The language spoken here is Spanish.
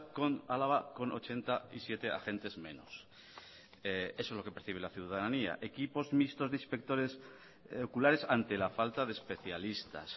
con álava con ochenta y siete agentes menos eso es lo que percibe la ciudadanía equipos mixtos de inspectores oculares ante la falta de especialistas